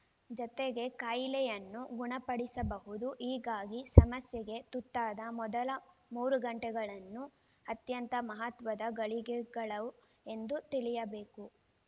ಜತೆಗೆ ಕಾಯಿಲೆಯನ್ನು ಗುಣಪಡಿಸಬಹುದು ಹೀಗಾಗಿ ಸಮಸ್ಯೆಗೆ ತುತ್ತಾದ ಮೊದಲ ಮೂರು ಗಂಟೆಗಳನ್ನು ಅತ್ಯಂತ ಮಹತ್ವದ ಗಳಿಗೆಗಳು ಎಂದು ತಿಳಿಯಬೇಕು